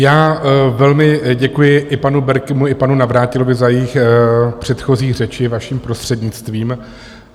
Já velmi děkuji i panu Berkimu i panu Navrátilovi za jejich předchozí řeči, vaším prostřednictvím.